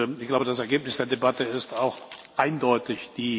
Ich glaube, das Ergebnis der Debatte ist auch eindeutig.